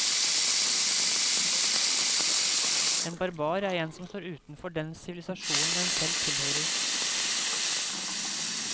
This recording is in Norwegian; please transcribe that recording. En barbar er en som står utenfor den sivilisasjonen en selv tilhører.